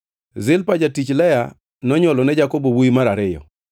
Zilpa jatich Lea nonywolo ne Jakobo wuowi mar ariyo.